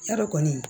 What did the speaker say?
Yadɔ kɔni